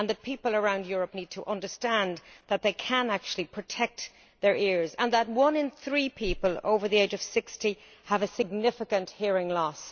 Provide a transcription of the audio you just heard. People around Europe need to understand that they can actually protect their ears and that one in three people over the age of 60 have a significant hearing loss.